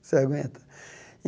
Você aguenta?